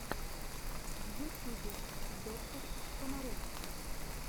в ютюбе доктор комаровский